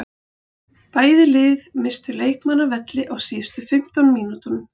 Bæði lið misstu leikmann af velli á síðustu fimmtán mínútunum.